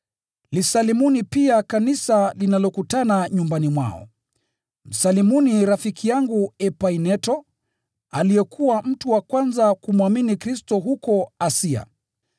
Lisalimuni pia kanisa linalokutana nyumbani mwao. Msalimuni rafiki yangu mpendwa Epaineto, aliyekuwa mtu wa kwanza kumwamini Kristo huko Asia.